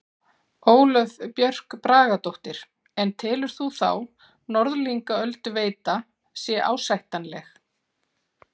Ólöf Björk Bragadóttir: En telur þú þá Norðlingaölduveita sé ásættanleg?